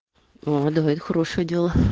а давай это хорошее дело